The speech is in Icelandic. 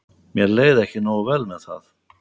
Mér leið ekki nógu vel með það.